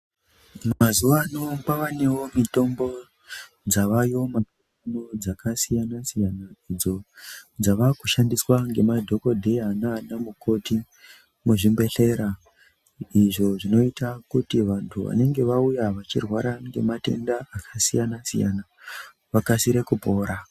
Mazuwano kwavanewo mitombo dzavayo mazuwano dzakasiyana siyana idzo dzavakushandiswa ngemadhokodheya nana mukoti muzvibhodhlera izvo zvinoita kuti vantu vanenge vauya vachirwara ngematenda akasiyana siyana vakasire kupora.